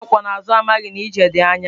Nwata akwó na azu, amaghi na ije di anya